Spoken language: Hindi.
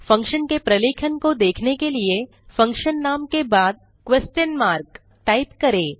फंक्शन के प्रलेखन को देखने के लिए फंक्शन नाम के बाद क्वेस्शन मार्क टाइप करें